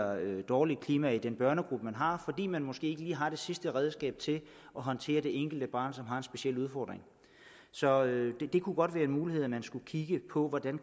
dårligt klima i den børnegruppe man har fordi man måske ikke lige har det sidste nye redskab til at håndtere det enkelte barn som har en speciel udfordring så det kunne godt være en mulighed at man skulle kigge på hvordan